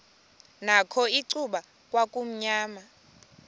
nakho icuba kwakumnyama